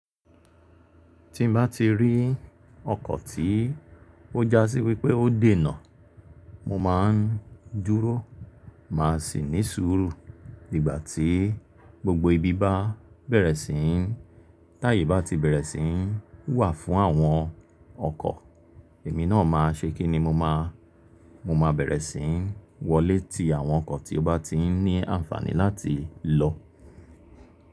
Tí n bá ti rí ọkọ̀ tí ó já sí wípé ó dé nà, mo ma ń dúró, màá sì ní sùúrù. Ìgbà tí gbogbo ibi bá bẹ̀rẹ̀ sí ń, táyè bá ti bẹ̀rẹ̀ sí ń wà fún àwọn ọkọ̀, èmi náà máa ṣe kíni mo máa, mo máa bẹ̀rẹ̀ sí ń wọ lé ti àwọn ọkọ̀ tí ó bá ti ń ní àǹfààní láti lọ.